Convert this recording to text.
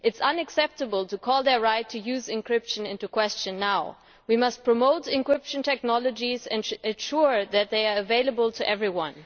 It is unacceptable to call their right to use encryption into question now. We must promote encryption technologies and ensure that they are available to everyone.